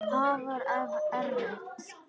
Afar erfitt.